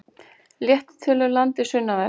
Léttir til um landið sunnanvert